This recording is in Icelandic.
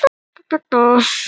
Sagði af sér vegna snjókomu